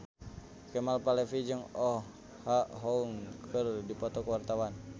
Kemal Palevi jeung Oh Ha Young keur dipoto ku wartawan